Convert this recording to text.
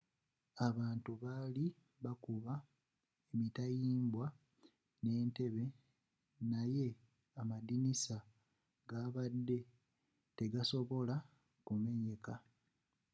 abantu bali bakuba emitayimbwa n'entebbe naye amadirisa gabadde tegasobola kumenyeka